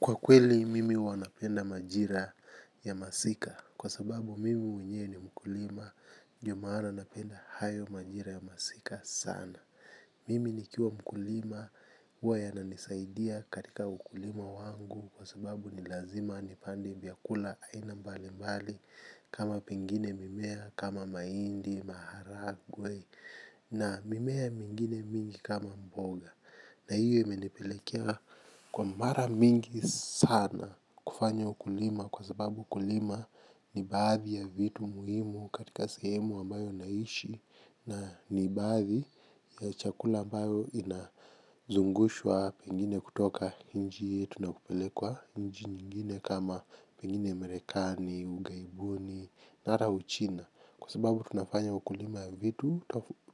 Kwa kweli mimi huwa napenda majira ya masika kwa sababu mimi mwenyewe ni mkulima ndio maana napenda hayo majira ya masika sana. Mimi nikiwa mkulima huwa yananisaidia katika ukulima wangu kwa sababu ni lazima nipande vyakula aina mbali mbali kama pengine mimea kama mahindi, maharagwe na mimea mingine mingi kama mboga. Na hiyo imenipelekea kwa mara mingi sana kufanya ukulima kwa sababu ukulima ni baadhi ya vitu muhimu katika sehemu ambayo naishi. Na ni baadhi ya chakula ambayo inazungushwa pengine kutoka nchi yetu nakupelekwa nchi nyingine kama pengine Marekani, ughaibuni, mara Uchina. Kwa sababu tunafanya ukulima vitu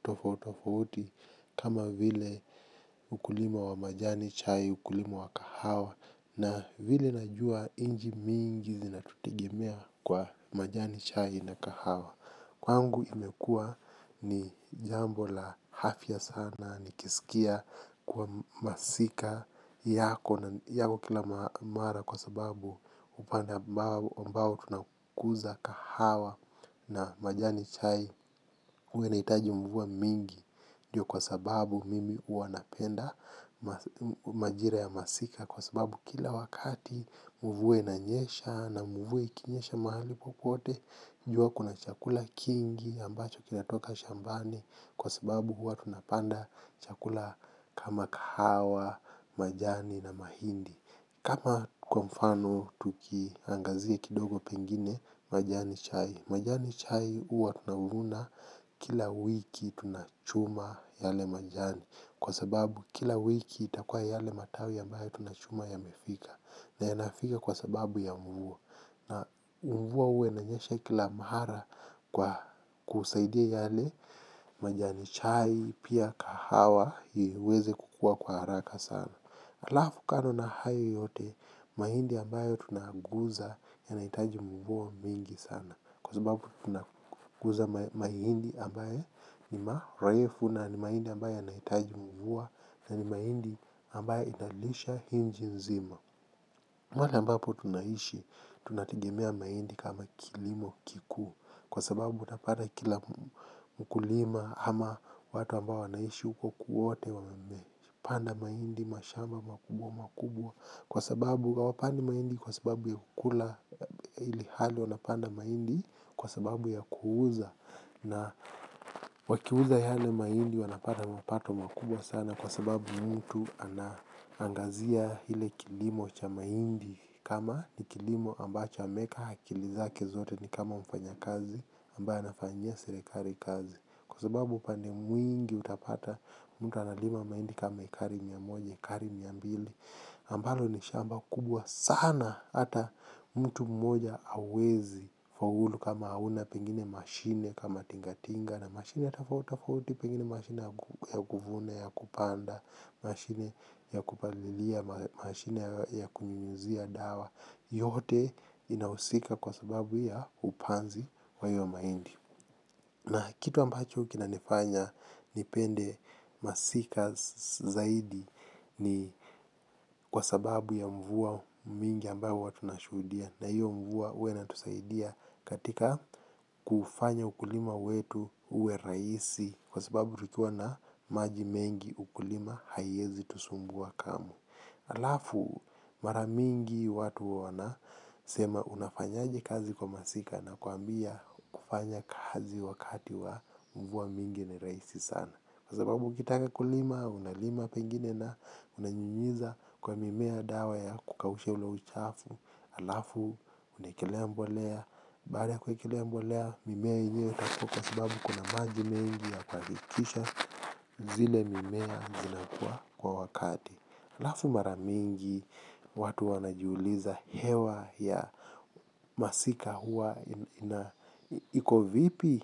tofauti tofauti kama vile ukulima wa majani chai, ukulima wa kahawa najua nchi mingi zinatutegemea kwa majani chai na kahawa. Kwangu imekua ni jambo la afya sana nikisikia kuwa masika yako kila mara kwa sababu kupanda mbao tunakuza kahawa na majani chai huwa inahitaji mvua mingi. Ndio kwa sababu mimi huwa napenda majira ya masika. Kwa sababu kila wakati mvua inanyesha na mvua ikinyesha mahali popote. Jua kuna chakula kingi ambacho kinatoka shambani. Kwa sababu huwa tunapanda chakula kama kahawa, majani na mahindi kama kwa mfano tukiangazia kidogo pengine majani chai, majani chai huwa tunavuna kila wiki, tunachuma yale majani, kwa sababu kila wiki itakuwa yale matawj ambavyo tunachuma yamefika na yanafika kwa sababu ya mvua na mvua huwa inanyesha kila mahala kwa kusaidia yale majani chai pia kahawa iweze kukua kwa haraka sana. Halafu kando na hayo yote mahindi ambayo tunaaguza yanahitaji mvua mingi sana, kwa sababu tunakuza mahindi ambaye ni marefu na ni mahindi ambaye yanahitaji mvua na ni mahindi ambayo inalisha inji nzima. Mahali ambapo tunaishi, tunategemea mahindi kama kilimo kikuu. Kwa sababu utapata kila mkulima ama watu ambao wanaishi huko kwote wame panda mahindi mashamba makubwa makubwa. Kwa sababu hawapandi mahindi kwa sababu ya kukula ilhali wanapanda mahindi kwa sababu ya kuuza. Na wakiuza yale mahindi wanapata mapato makubwa sana kwa sababu mtu anaangazia ile kilimo cha mahindi kama ni kilimo ambacho ameweka akili zake zote ni kama mfanyakazi. Ambayo anafanyia serekali kazi, kwa sababu upande mwingi utapata mtu analima maindi kama ekari mia moja, ekari mia mbili ambalo ni shamba kubwa sana hata mtu mmoja hawezi faulu kama hauna pengine mashine kama tingatinga na mashine tofauti tofauti, pengine mashine ya kuvuna, ya kupanda, mashine ya kupalilia, mashine ya kunyunyizia dawa, yote inahusika kwa sababu ya upanzi wa hiyo mahindi. Na kitu ambacho kinanifanya nipende masika zaidi ni kwa sababu ya mvua mingi ambayo watu wanashuhudia, na hiyo mvua huwa inatusaidia katika kufanya ukulima wetu uwe rahisi kwa sababu tukiwa na maji mengi ukulima haiezi tusumbua kamwe. Halafu mara mingi watu wanasema unafanyaje kazi kwa masika, nakwambia kufanya kazi wakati wa mvua mingi ni rahisi sana. Kwa sababu ukitaka kulima, unalima pengine na unanyunyiza kwa mimea dawa ya kukausha ile uchafu. Alafu unaekelea mbolea, baada ya kuwekelea mbolea mimea yenyewe itakua kwa sababu kuna maji mengi ya kuhakikisha zile mimea zinakua kwa wakati. Halafu mara mingi watu wanajiuliza hewa ya masika huwa ina, iko vipi?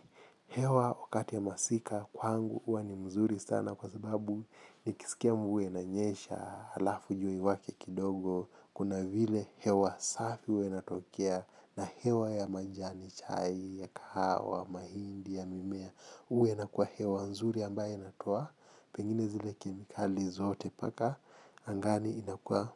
Hewa wakati ya masika kwangu huwa ni mzuri sana kwa sababu nikisikia mvua inanyesha halafu jua iwake kidogo kuna vile hewa safi huwa inatokea na hewa ya majani chai, ya kahawa, mahindi ya mimea huwa inakuwa hewa nzuri ambayo inatoa pengine zile kemikali zote paka angani inakuwa.